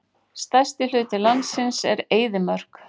Stærsti hluti landsins er eyðimörk.